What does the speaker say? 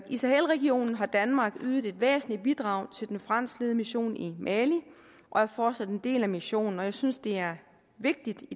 i sahelregionen har danmark ydet et væsentligt bidrag til den franskledede mission i mali og er fortsat en del af missionen og jeg synes det er vigtigt